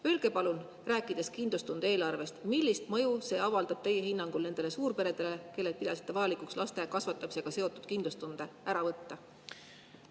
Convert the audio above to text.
Öelge palun, rääkides kindlustunde eelarvest, millist mõju see avaldab teie hinnangul nendele suurperedele, kellelt pidasite vajalikuks laste kasvatamisega seotud kindlustunde ära võtta?